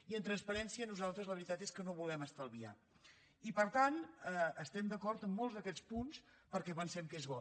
i en transparència nosaltres la veritat és que no volem estalviar i per tant estem d’acord amb molts d’aquests punts perquè pensem que és bo